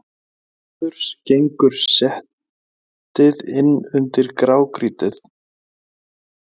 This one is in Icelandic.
Til norðurs gengur setið inn undir grágrýtið.